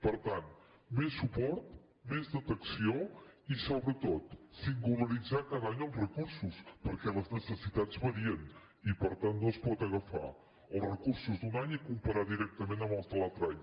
per tant més suport més detecció i sobretot singularitzar cada any els recursos perquè les necessitats varien i per tant no es poden agafar els recursos d’un any i comparar los directament amb els de l’altre any